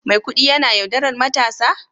Maikudi yana yaudarar matarsa?